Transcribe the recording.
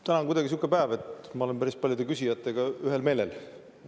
Täna on kuidagi sihuke päev, et ma olen päris paljude küsijatega ühel meelel.